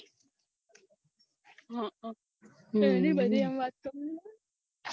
હઅ